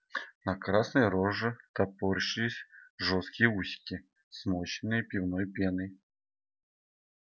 на красной роже топорщились жёсткие усики смоченные пивной пеной